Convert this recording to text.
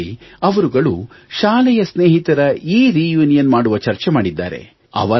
ಇದರಲ್ಲಿ ಅವರುಗಳು ಶಾಲೆಯ ಸ್ನೇಹಿತರ ಎರ್ಯುನಿಯನ್ ಮಾಡುವ ಚರ್ಚೆ ಮಾಡಿದ್ದಾರೆ